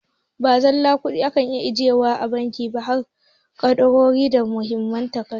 Ba zallar kuɗi ake ajiye wa a banki ba harda ƙadarori da Muhimman takardu.